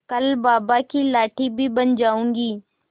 कल बाबा की लाठी भी बन जाऊंगी